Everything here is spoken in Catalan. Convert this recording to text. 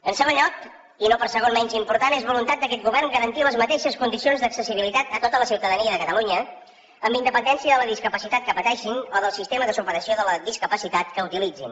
en segon lloc i no per segon menys important és voluntat d’aquest govern garantir les mateixes condicions d’accessibilitat a tota la ciutadania de catalunya amb independència de la discapacitat que pateixin o del sistema de superació de la discapacitat que utilitzin